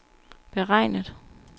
beregnet